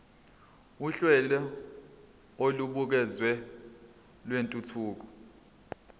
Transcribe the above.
uhlelo olubukeziwe lwentuthuko